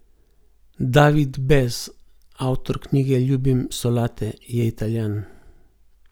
David Bez, avtor knjige Ljubim solate, je Italijan.